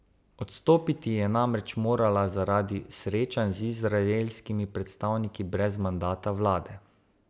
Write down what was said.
Odstopiti je namreč morala zaradi srečanj z izraelskimi predstavniki brez mandata vlade.